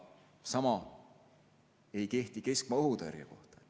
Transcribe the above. Paraku ei kehti sama keskmaa õhutõrje kohta.